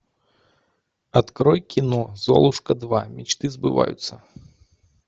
открой кино золушка два мечты сбываются